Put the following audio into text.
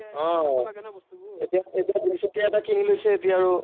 আহ এতিয়া, এতিয়া দুইচকীয়া এটা কিনি লৈছে এতিয়া আৰু